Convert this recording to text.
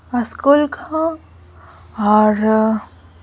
school का और --